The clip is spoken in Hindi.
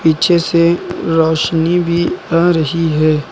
पीछे से रोशनी भी आ रही है।